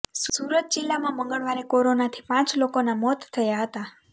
સુરત જિલ્લામાં મંગળવારે કોરોનાથી પાંચ લોકોના મોત થયા હતા